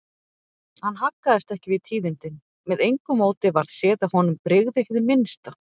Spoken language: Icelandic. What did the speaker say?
Hann haggaðist ekki við tíðindin, með engu móti varð séð að honum brygði hið minnsta.